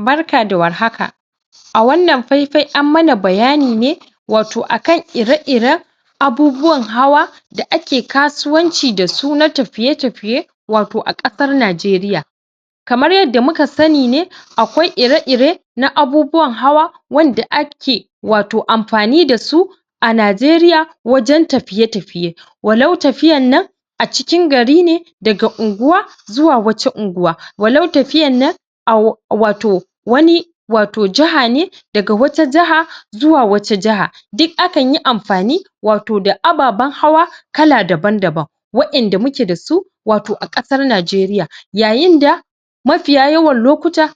Barka da warhaka a wannan faifai an mana bayani ne wato akan ire-iren abubuwan hawa da ake kasuwanci dasu na tafiye-tafiye wato a ƙasar najeriya kamar yanda muka sani ne akwai ire-ire na abubuwan hawa wanda ake wato amfani dasu a najeriya wajen tafiye-tafiye walau tafiyar nan a cikin gari ne daga unguwa zuwa wace unguwa walau tafiyar nan au wato wani wato jaha ne daga wata jaha zuwa wata jaha duk akanyi amfani wato da ababen hawa kala daban daban wa inda muke dasu a ƙasar najeriya yayinda mafiya yawan lokuta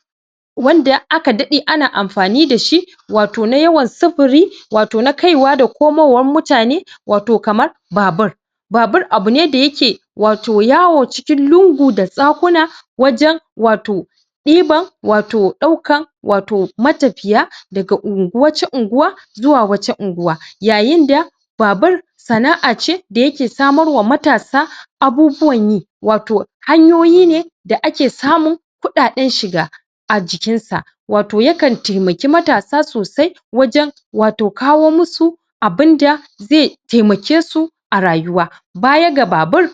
wanda aka daɗe ana amfani dashi wato na yawan sufuri wato na kaiwa da komowar muyane wato kamar babur. Babur abu ne da yake yawo wato cikin lungu da saƙuna wajen wato ɗiban wato ɗaukan wato matafiya daga ungu.. wace unuwa zuwa wace unguwa yayinda babur sana'a ce da yake samarwa matasa abubuwan yi wato hanyoyi ne da ake samun kuɗaden shiga a jikinsa. Wato yakan taimaki matasa sosai wajen wato kawo musu abinda ze taimakesu a rayuwa. Baya ga babur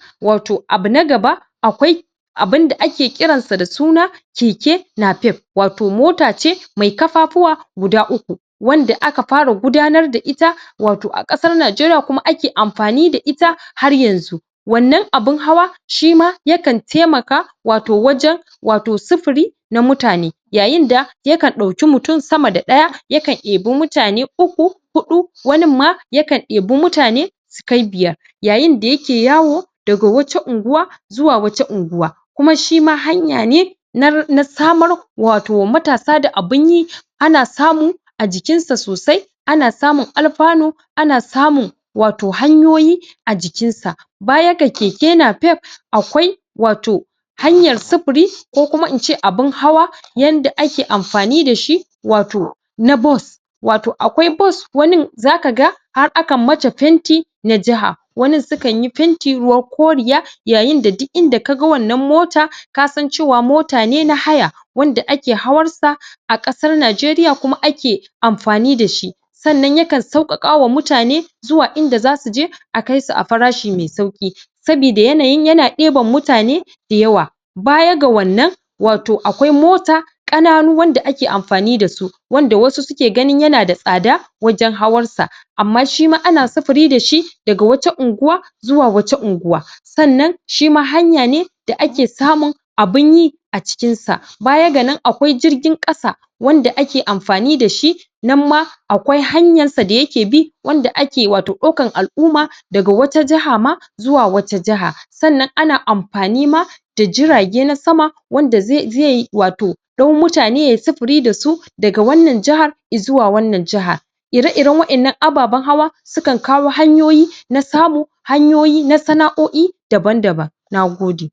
abu na gaba akwai abun da ake kiransa da suna keke nafef wato mota ce mai ƙafafuwa guda uku wanda aka fara gudanar da ita wato a ƙasar najeriya kuma ake amfani da ita har yanzun. wannan abin hawa shima yakan taimaka wato wajen wato sufuri na mutane. Yayinda yakan ɗauki mutum sama da ɗaya yakan ɗebi mutane uku, hudu waninma yaka debi mutane sukai biyar yayinda yake yawo daga wata unguwa zuwa wata unguwa kuma shima hanya ne na na samar.. samar wato matasa da abin yi ana samu a jikinsa sosai a jikinsa sosai ana samun alfanu ana samun wato hanyoyi a jikinsa. baya da keke nafef akwaai wato hanyar sufuri ko kuma in ce abun hawa yanda ake amfani dashi wato na bus wato akwai bus wani za kaga har akan mata fenti na jaha wanu sukai fenti ruwan koriya yayin da duk inda ka ga wannan mota kasan cewa mota ne na haya wanda ake hawar sa a ƙasar Nijeriya kuma ake amfani da shi sannan yakan sauƙaƙama mutane zuwa inda za su je a kaisu a farshi mai sauƙi soboda yanayin yana ɗeban mutane da yawa baya ga wannan wato akwai mota ƙananu wanda ake amfani da su wanda wasu suke ganin yana da tsada wajen hawan sa amma shima ana sufuri da shi daga wata unguwa zuwa wata unguwa sannan shima hanya ne da ake samun abun yi a cikin sa baya ga nan akwai jirgin ƙasa wanda ake amfani da shi nan ma akwai hanyar sa da yake bi wanda ake wato ɗaukar al'umma daga wata jaha ma zuwa wata jaha sannan ana amfani ma da jirage na sama wanda zai wato ɗau mutane yayi sufuri da su daga wannan jahar izuwa wannan jahar ire-iren waɗannan ababen hawa sukan kawo hanyoyi na samu hanyoyi na sana'o'i daban-daban nagode.